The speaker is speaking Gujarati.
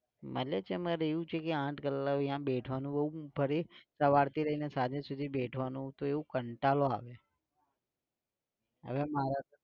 મળે છે મારે એમાં એવું છે કે આંઠ કલાક ન્યા બેઠવાનું બોવ પડે સવારથી લઈને સાંજે સુધી બેઠવાનું તો એવું કાંટાડો આવે. હવે મારા